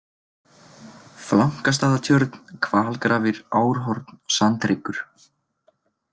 Flankastaðatjörn, Hvalgrafir, Árhorn, Sandhryggur